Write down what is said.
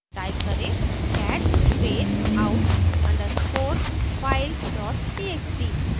type करेंः cat space out _ underscore file dot txt